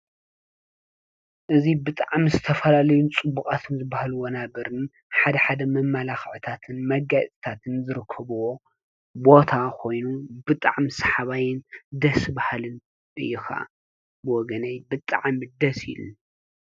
እዚ ብጣዕሚ ዝተፈላለዩ ፅቡቃት ዝተብሃሉ ወናብርን ሓድሓድ መመላኽዕታትን መጋየፅታትን ዝርከብዎ ቦታ ኮይኑ ብጣዕሚ ሰሓባይን ደስ ብሃልን እዩ ከዓ ብወገነይ ብጣዕ ደስ ኢሉኒ።